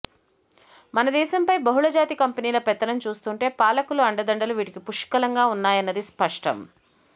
మనదేశంపై బహుళజాతి కంపెనీల పెత్తనం చూస్తుంటే పాలకుల అండదండలు వీటికి పుష్కలంగా ఉన్నాయన్నది స్పష్టం